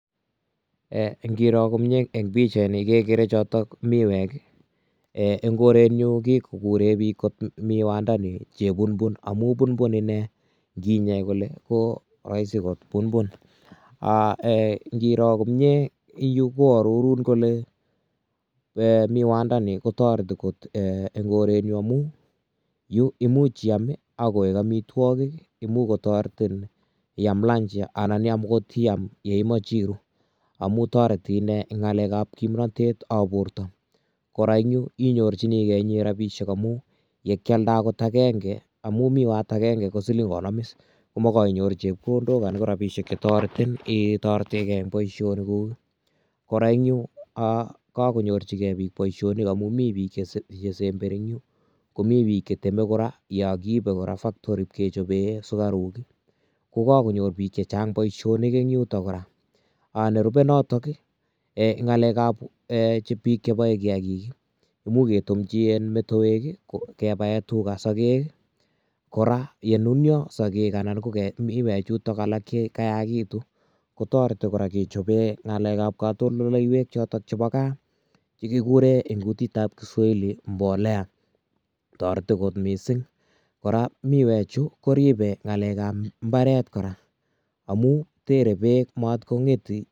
Ee inguro komie en pichaini kekere chotok miwek ii en korenyun kikookuren bik miwandani chekungun amun kunkun inee inginyei kole koroisi kokunkun aa ee ingiro komie yu koororun kole miwandani kotoreti kot en korenyun amun yu koimuch iaam koik omitwogik, imuch kotoretin iaam lunch anan okot iaam yeimoche iruu amun toreti inee ngalekab kimnotetab borto, koraa en yu inyorjinigee rabishek amun yekialda okot agenge amun miwat agenge kosilingonom is komokoinyoru chepkondok anan korabishek chetoretin ee itoretegee en boisionikuk ii ,koraa en yu aa kokonyojigee bik boisionik amun mi bik chesemberi en yu komi cheteme koraa yon kokiibe koraa factory ipkechobee sukaruk ii kokokonyor bik chechang boisionik en yuto koraa nerubee notok ii ngalekab ee bik cheboe kiagik ii imuch ketumji metoek ii kebae tuga sokek ii ,koraa yenunio sokek anan komiwechuton alak chakayakitun kotoreti koraa kechobee ngalekab kotondoleiwek chotok chebo kaa chekikuren en kutitab Kiswahili mbolea toreti kot misink koraa miwechu koribe ngalekab Imbaret koraa amun tere beek maat kongeti.